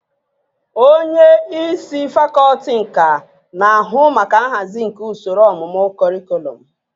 Onye isi fakọlti nka na-ahụ maka nhazi nke usoro ọmụmụ kọrịkọlọm